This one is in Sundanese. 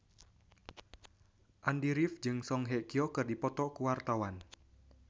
Andy rif jeung Song Hye Kyo keur dipoto ku wartawan